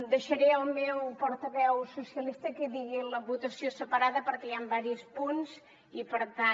deixaré al meu portaveu socialista que digui la votació separada perquè hi han diversos punts i per tant